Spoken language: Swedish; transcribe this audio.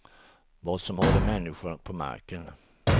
Vad som håller människor på marken.